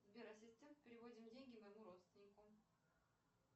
сбер ассистент переводим деньги моему родственнику